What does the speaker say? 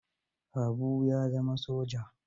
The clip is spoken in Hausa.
Habu ya zama soja.